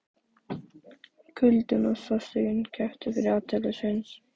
Kuldinn og sársaukinn kepptu um athygli Sveins.